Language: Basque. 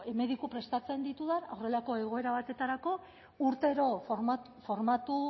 mediku prestatzen ditudan horrelako egoera batetarako urtero formatu